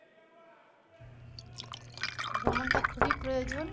ভ্রমণটা খুবই প্রয়োজন